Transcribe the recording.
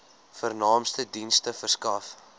vernaamste dienste verskaf